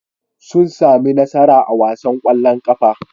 Sun sami nasara a wasan ƙwallon ƙafa.